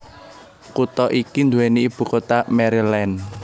Kutha iki duweni ibu kota Maryland